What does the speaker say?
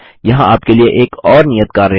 यहाँ आपके लिए एक और नियत कार्य है